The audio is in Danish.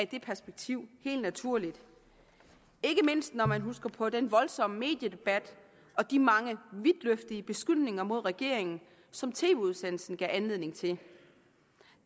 det perspektiv helt naturligt ikke mindst når man husker på den voldsomme mediedebat og de mange vidtløftige beskyldninger mod regeringen som tv udsendelsen gav anledning til